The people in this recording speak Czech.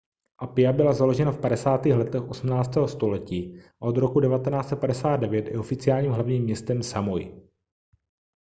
apia byla založena v 50. letech 18. století a od roku 1959 je oficiálním hlavním městem samoi